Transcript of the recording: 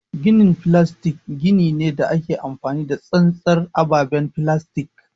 Ginin filastik gini ne da ake amfani da tsantsar ababen filastik.